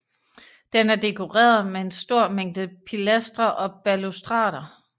Den er dekoreret med en stor mængde pilastre og balustrader